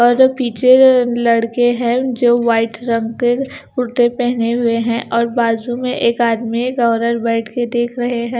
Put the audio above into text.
और पीछे लड़के हैं जो वाइट रंग के कुर्ते पहने हुए हैं और बाजू में एक आदमी बैठ के देख रहे हैं।